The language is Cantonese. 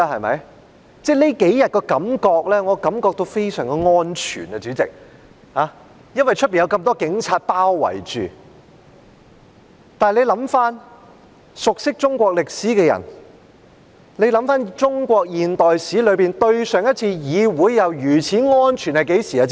我這幾天感到非常"安全"，主席，因為被外面那麼多警察包圍着，但回想過去，熟悉中國歷史的人是否知道在中國現代史中，上一次議會是如此"安全"的是甚麼時候？